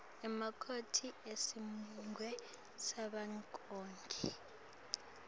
emakomiti esigungu savelonkhe